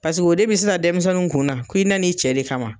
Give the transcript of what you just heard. Paseke o de bɛ sisan denmisɛnninw kun na ko i na n'i cɛ de kama.